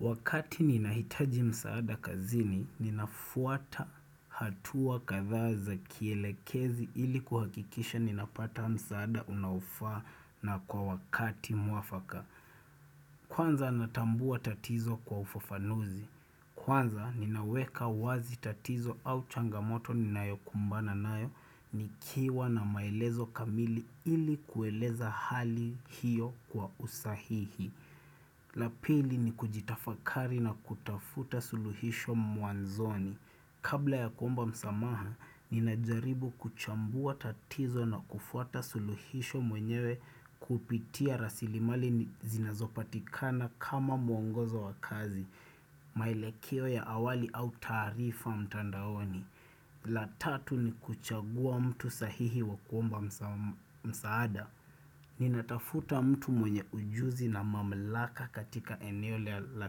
Wakati ninahitaji msaada kazini, ninafuata hatua kadhaa za kielekezi ili kuhakikisha ninapata msaada unaofaa na kwa wakati mwafaka. Kwanza natambua tatizo kwa ufafanuzi. Kwanza ninaweka wazi tatizo au changamoto ninayokumbana nayo nikiwa na maelezo kamili ili kueleza hali hiyo kwa usahihi. La pili ni kujitafakari na kutafuta suluhisho mwanzoni. Kabla ya kuomba msamaha, ninajaribu kuchambua tatizo na kufuata suluhisho mwenyewe kupitia rasilimali zinazopatikana kama muongozo wa kazi, maelekeo ya awali au taarifa mtandaoni. La tatu ni kuchagua mtu sahihi wa kuomba msaada. Ni natafuta mtu mwenye ujuzi na mamlaka katika eneo la la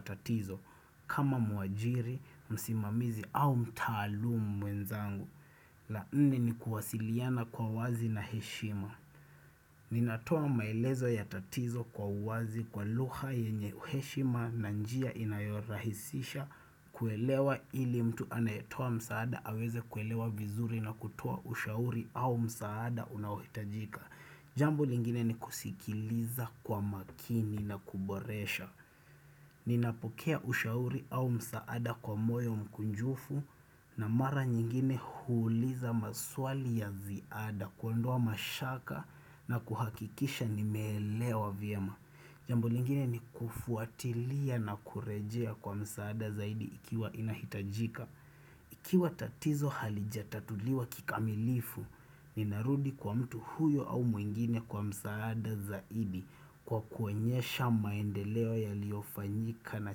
tatizo kama muajiri, msimamizi au mtaalumu mwenzangu la nne ni kuwasiliana kwa wazi na heshima. Ninatoa maelezo ya tatizo kwa uwazi kwa lugha yenye heshima na njia inayorahisisha kuelewa ili mtu anayetoa msaada aweze kuelewa vizuri na kutoa ushauri au msaada unaohitajika. Jambo lingine ni kusikiliza kwa makini na kuboresha. Ninapokea ushauri au msaada kwa moyo mkunjufu na mara nyingine huuliza maswali ya ziada kuondoa mashaka na kuhakikisha nimeelewa vyema. Jambu lingine ni kufuatilia na kurejea kwa msaada zaidi ikiwa inahitajika. Ikiwa tatizo halijatatuliwa kikamilifu, ninarudi kwa mtu huyo au mwingine kwa msaada zaidi kwa kuonyesha maendeleo yaliyofanyika na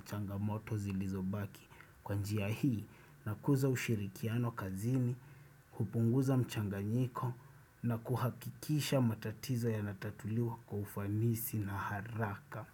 changamoto zilizobaki. Kwa njia hii, nakuza ushirikiano kazini, kupunguza mchanganyiko na kuhakikisha matatizo yanatatuliwa kwa ufanisi na haraka.